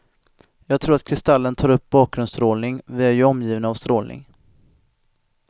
Jag tror att kristallen tar upp bakgrundsstrålning, vi är ju omgivna av strålning.